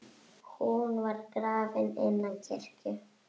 Hún var grafin innan kirkju.